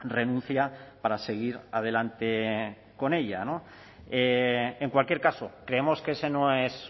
renuncia para seguir adelante con ella en cualquier caso creemos que ese no es